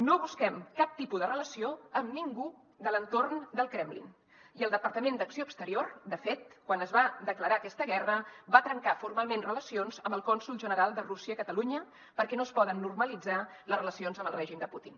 no busquem cap tipus de relació amb ningú de l’entorn del kremlin i el departament d’acció exterior de fet quan es va declarar aquesta guerra va trencar formalment relacions amb el cònsol general de rússia a catalunya perquè no es poden normalitzar les relacions amb el règim de putin